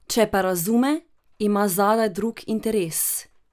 Če pa razume, ima zadaj drug interes.